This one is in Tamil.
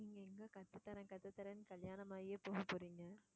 நீங்க எங்க கத்துத்தர்றேன் கத்துதர்றேன்னு கல்யாணம் ஆகியே போக போறீங்க.